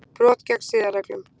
Brot gegn siðareglum